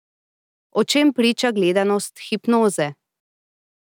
O čem priča gledanost Hipnoze?